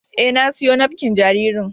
E, na siyo nafƙin jaririn.